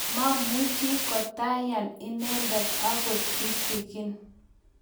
mamuchi kotayan inendet akot kitegen